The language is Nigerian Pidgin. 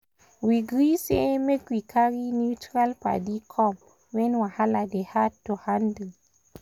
we gree say make we carry neutral padi come when wahala dey hard to handle.